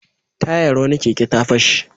Tayar wani keke ta fashe.